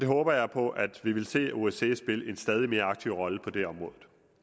håber på at vi vil se osce spille en stadig mere aktiv rolle på det område